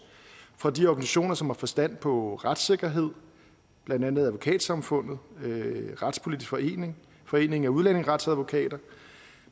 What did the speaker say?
fra de organisationer som har forstand på retssikkerhed blandt andet advokatsamfundet retspolitisk forening og foreningen af udlændingeretsadvokater